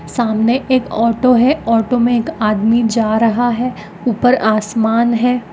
सामने ऑटो है। ऑटो में आदमी जा रहा है ऊपर आसमान है।